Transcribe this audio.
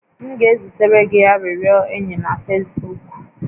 M ga-ezitere gị arịrịọ enyi na Fesbuuk